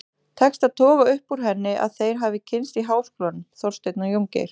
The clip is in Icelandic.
Tekst að toga upp úr henni að þeir hafi kynnst í háskólanum, Þorsteinn og Jóngeir.